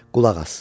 Qulaq as.